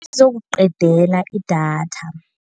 Izokuqedala idatha.